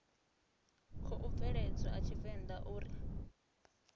khou bveledzwa a tshivenḓa uri